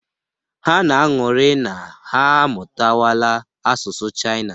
Ha na-aṅụrị na ha amụtawala asụsụ Chaịna.